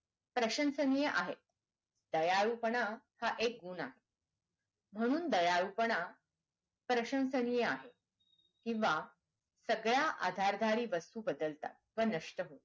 प्रशन्सनीय आहे दयाळूपणा एक गुण आहे म्हणून दयाळूपणा प्रशंसनीय आहे किंवा सगळ्या आधारधारीत वस्तू बदलतात व नष्ट होतात